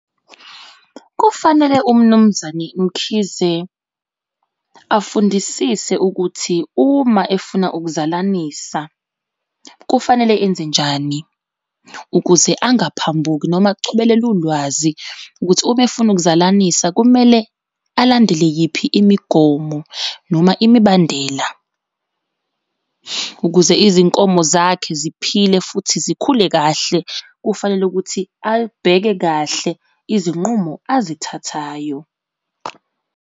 Kufanele uMnumzane Mkhize afundisise ukuthi uma efuna ukuzalanisa kufanele enze njani ukuze angaphambuki noma achobelele ulwazi ukuthi uma efuna ukuzalanisa kumele alandele yiphi imigomo noma imibandela. Ukuze izinkomo zakhe ziphile futhi zikhule kahle kufanele ukuthi alibheke kahle izinqumo azithathayo.